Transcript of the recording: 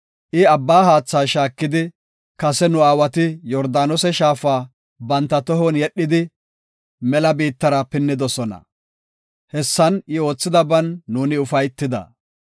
I abba haatha shaakidi, kase nu aawati Yordaanose shaafa banta tohon yedhidi mela biittara pinnidosona. Hessan I oothidaban nuuni ufaytida.